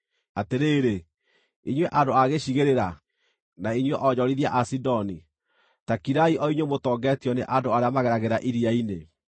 Atĩrĩrĩ, inyuĩ andũ a gĩcigĩrĩra, na inyuĩ onjorithia a Sidoni, ta kirai o inyuĩ mũtongetio nĩ andũ arĩa mageragĩra iria-inĩ.